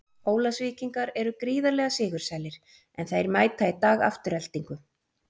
Ólafsvíkingar eru gríðarlega sigursælir, en þeir mæta í dag Aftureldingu.